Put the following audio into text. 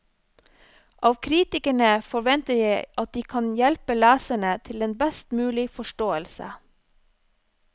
Av kritikerne forventer jeg at de kan hjelpe leserne til en best mulig forståelse.